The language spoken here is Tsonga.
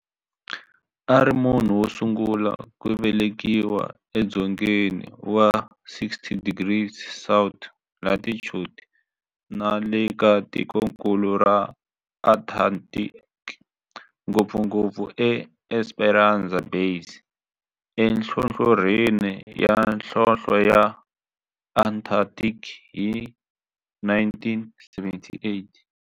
A ri munhu wosungula ku velekiwa e dzongeni wa 60 degrees south latitude nale ka tikonkulu ra Antarctic, ngopfungopfu e Esperanza Base enhlohlorhini ya nhlonhle ya Antarctic hi 1978.